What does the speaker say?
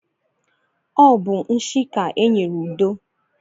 Ọ bụ nshi ka e nyere Udo.